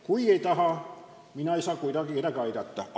Kui keegi ei taha, siis mina ei saa kuidagi aidata.